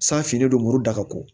San finnen don muru da ko